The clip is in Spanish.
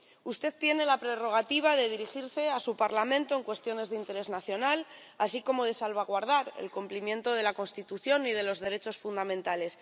Usted tiene la prerrogativa de dirigirse a su Parlamento en cuestiones de interés nacional, así como de salvaguardar el cumplimiento de la Constitución y de los derechos fundamentales.